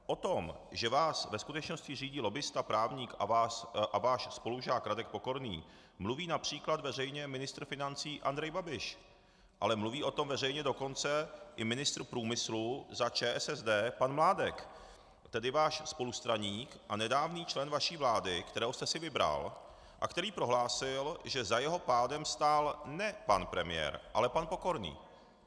O tom, že vás ve skutečnosti řídí lobbista, právník a váš spolužák Radek Pokorný, mluví například veřejně ministr financí Andrej Babiš, ale mluví o tom veřejně dokonce i ministr průmyslu za ČSSD pan Mládek, tedy váš spolustraník a nedávný člen vaší vlády, kterého jste si vybral a který prohlásil, že za jeho pádem stál ne pan premiér, ale pan Pokorný.